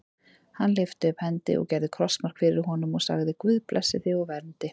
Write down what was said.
Hann lyfti upp hendi og gerði krossmark fyrir honum og sagði:-Guð blessi þig og verndi.